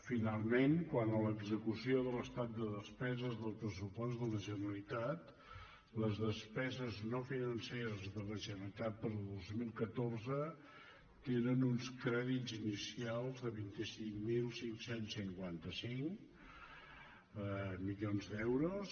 finalment quant a l’execució de l’estat de despeses del pressupost de la generalitat les despeses no financeres de la generalitat per al dos mil catorze trenen uns crèdits inicials de vint cinc mil cinc cents i cinquanta cinc milions d’euros